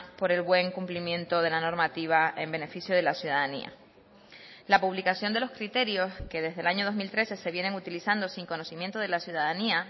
por el buen cumplimiento de la normativa en beneficio de la ciudadanía la publicación de los criterios que desde el año dos mil trece se vienen utilizando sin conocimiento de la ciudadanía